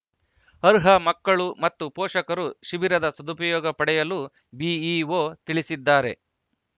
ಅರ್ಹ ಮಕ್ಕಳು ಮತ್ತು ಪೋಷಕರು ಶಿಬಿರದ ಸದುಪಯೋಗ ಪಡೆಯಲು ಬಿಇಒ ತಿಳಿಸಿದ್ದಾರೆ